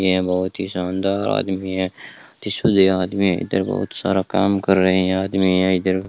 ये बहुत ही शानदार आदमी है जिसे आदमी है इधर बहुत सारा काम कर रहे हैं आदमी है इधर --